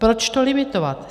Proč to limitovat?